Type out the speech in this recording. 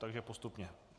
Takže postupně.